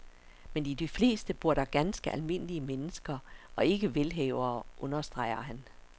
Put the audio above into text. Men i de fleste bor der ganske almindelige mennesker og ikke velhavere, understreger han.